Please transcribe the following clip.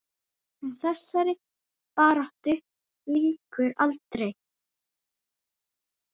En þessari baráttu lýkur aldrei.